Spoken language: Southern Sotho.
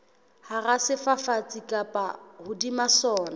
hara sefafatsi kapa hodima sona